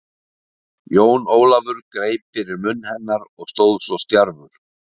Jón Ólafur greip fyrir munn hennar og stóð svo stjarfur.